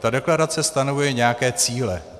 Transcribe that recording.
Ta deklarace stanovuje nějaké cíle.